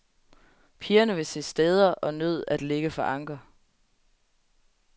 Pigerne ville se steder og nød at ligge for anker.